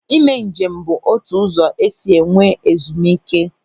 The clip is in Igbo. Ị mee njem bụ otu ụzọ esi enwe ezumike.